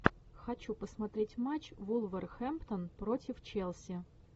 хочу посмотреть матч вулверхэмптон против челси